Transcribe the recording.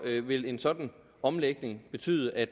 vil en sådan omlægning betyde at